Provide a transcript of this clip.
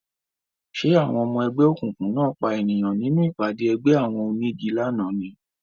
Ṣé àwọn ọmọ ẹgbẹ́ òkùnkùn náà pa ènìyàn nínú ìpàdé ẹgbẹ́ àwọn onígi lánàá ni